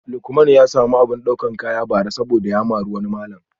Lukman ya samu abin daukar kaya bara saboda ya mari wani malam